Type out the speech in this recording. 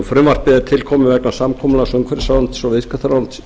frumvarpið er til komið vegna samkomulags umhverfisráðuneytis og viðskiptaráðuneytis